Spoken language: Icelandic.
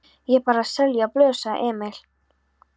Ég er bara að selja blöð, sagði Emil.